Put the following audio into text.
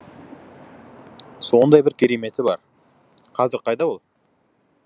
сондай бір кереметі бар қазір қайда ол